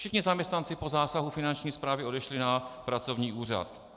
Všichni zaměstnanci po zásahu Finanční správy odešli na pracovní úřad.